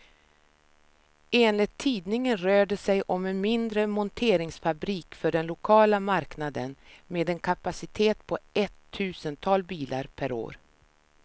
Enligt tidningen rör det sig om en mindre monteringsfabrik för den lokala marknaden, med en kapacitet på ett tusental bilar per år.